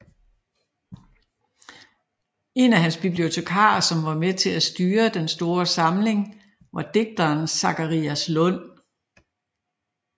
En af hans bibliotekarer som var med til at styre den store samling var digteren Zacharias Lund